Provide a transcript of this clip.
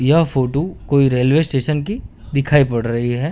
यह फोटू कोई railway station की दिखाई पड़ रही है।